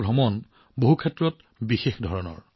তেওঁলোকৰ এই যাত্ৰা বহু দিশত অতি বিশেষ